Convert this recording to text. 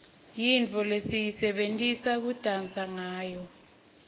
yintfo lesiyisebentisa kudansa ngawo